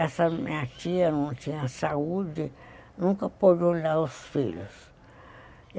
Essa minha tia não tinha saúde, nunca pôde olhar os filhos.